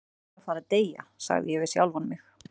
Hann hlýtur að fara að deyja, sagði ég við sjálfan mig.